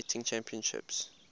figure skating championships